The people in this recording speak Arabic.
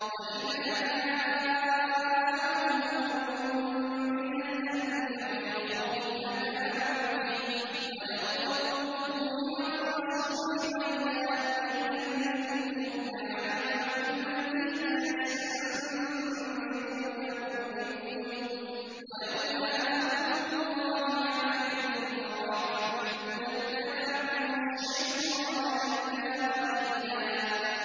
وَإِذَا جَاءَهُمْ أَمْرٌ مِّنَ الْأَمْنِ أَوِ الْخَوْفِ أَذَاعُوا بِهِ ۖ وَلَوْ رَدُّوهُ إِلَى الرَّسُولِ وَإِلَىٰ أُولِي الْأَمْرِ مِنْهُمْ لَعَلِمَهُ الَّذِينَ يَسْتَنبِطُونَهُ مِنْهُمْ ۗ وَلَوْلَا فَضْلُ اللَّهِ عَلَيْكُمْ وَرَحْمَتُهُ لَاتَّبَعْتُمُ الشَّيْطَانَ إِلَّا قَلِيلًا